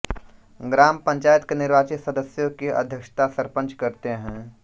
ग्राम पंचायत के निर्वाचित सदस्यों की अध्यक्षता सरपंच करते हैं